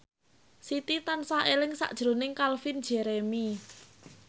Siti tansah eling sakjroning Calvin Jeremy